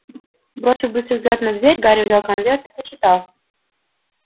бросив быстрый взгляд на дверь гарри взял конверт и прочитал